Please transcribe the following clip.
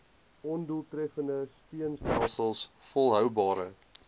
ondoeltreffende steunstelsels volhoubare